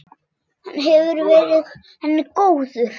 Hann hefur verið henni góður.